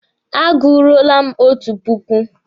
A guruole m otu puku.